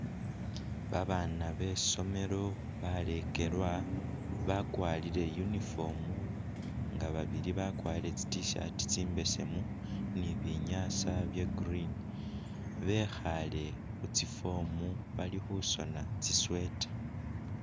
Babana besomelo balekelwa bakwarile uniform nga babili bakwarile tsi t-shirt tsimbesemu nibinyasa bya'green bekhale khutsiform balikhusona tsi'sweater